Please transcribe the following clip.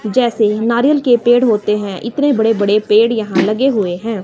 जैसे नारियल के पेड़ होते हैं इतने बड़े बड़े पेड़ यहां लगे हुए हैं।